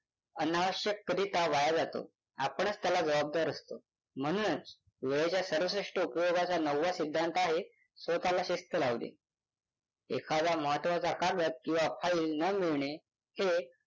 अनावश्यकरीत्या वाया जातो. आपणच त्याला जबाबदार असतो. म्हणूनच वेळाच्या सर्वश्रेष्ठ उपयोगाचा नववा सिद्धांत आहे स्वतःला शिस्त लावणे. एखादा महत्वाचा कागद किंवा फाइल न मिळणे हे